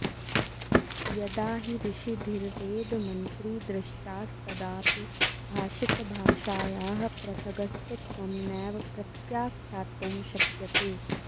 यदा हि ऋषिभिर्वेदमन्त्री दृष्टास्तदापि भाषितभाषाया पृथगस्तित्वं नैव प्रत्याख्यातुं शक्यते